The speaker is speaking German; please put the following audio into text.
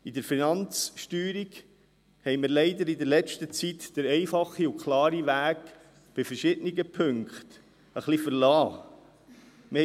In der letzten Zeit verliessen wir ein wenig den einfachen und klaren Weg bei verschiedenen Punkten der Finanzsteuerung.